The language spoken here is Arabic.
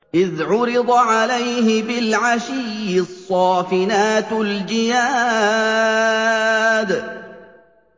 إِذْ عُرِضَ عَلَيْهِ بِالْعَشِيِّ الصَّافِنَاتُ الْجِيَادُ